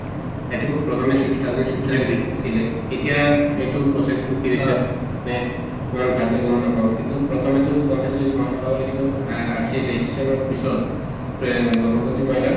এতিয়া এইটো process টো ইমান ভালকে গম নাপাওঁ কিন্তু প্ৰথমে টো গম পাইছিলোঁ যে মহিলাসকলে কী কিন্তু অ সেই registration ৰ পিছত অ গৰ্ভৱতী মহিলাক